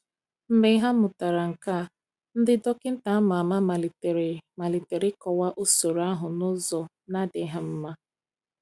Mgbe ha mụtara nke a, ndị dọkịta ama ama malitere malitere ịkọwa usoro ahụ n’ụzọ na-adịghị mma.